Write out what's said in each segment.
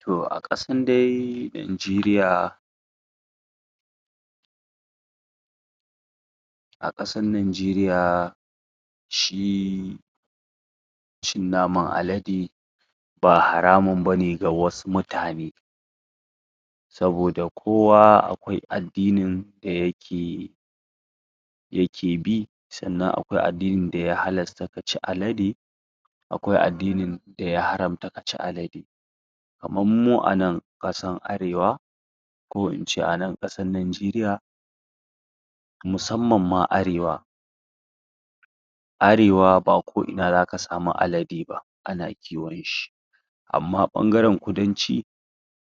Toh a kasn dai najerya a Ƙasan najeriya shiiii.... cin naman alade ba haramun bane ga wasu mutane saboda kowa akwai addinin da yake yi yake bi, sannan akwai addinin daya halasta kaci alade akwai addinin daya haramta kaci alde kaman mu anan kasan arewa ko ince anan kasan najeriya musamman ma arewa arewa ba ko ina zaka sama alade ba, ana kiwon shi amma bangaren kudanci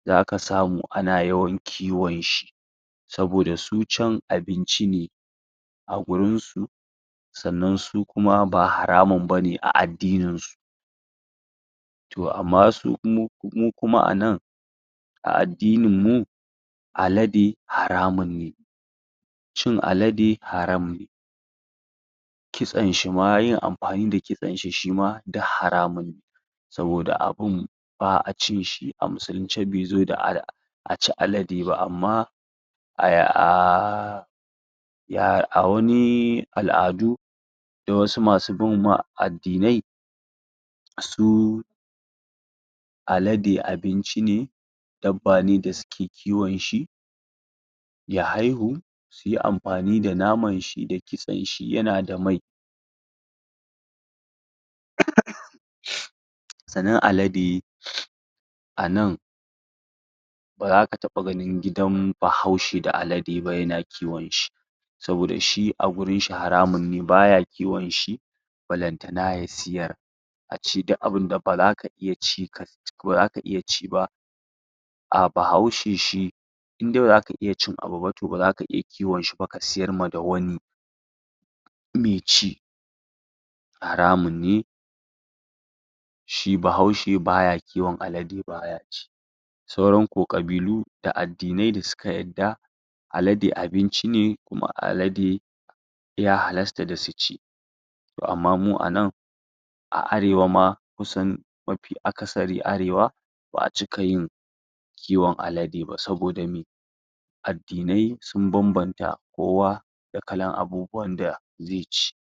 zaka samu ana yawan kiwon shi saboda su can abinci ne a gurinsu sannan su kuma ba haramun bane a addinin su to ammma su... mu kuma anan a addinin mu alade haramun ne cin alade haram ne Ƙitsen shima... yin afani da kitsen shima duk haramunne saboda abin ba'a cin shi. A muslunce bai zo da a ci alade ba amma aahhhh...... yaa.... a wani al'adu na wasu masu bin ma.. addinai suu... alade abinchi ne dabba ne da suke kiwon shi ya haihu, suyi amfani da naman shi da Ƙitsen shi, yana da mai sannan alade anan ba zaka taba ganin gidan bahaushe da alade ba yana kiwon shi saboda shi a wurin sa haramun ne, baya kiwon shi ballantana ya siyar ace duk abinda ba za ka iya ci ba ah, bahaushe shi indai bazaka iya cin abu ba, ba zaka iya kiwon shi ba ka siyar ma da wani baici haramun ne shi bahaushe baya kiwon alade baya ci sauran ko Ƙabilu da addinai da suka yadda alade abinci ne, kuma alade ya halasta da suci to amma mu anan a arewa ma, kusan mafi akasari arewa ba'a cika yin kiwon alade ba saboda me addinai sun bambamta kowa da kalan abubuwan da zaici